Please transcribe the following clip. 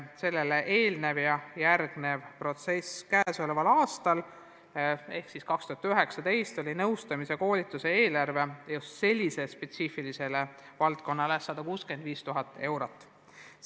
2019. aastal oli nõustamise ja koolituse eelarve just sellises spetsiifilises valdkonnas 165 000 eurot.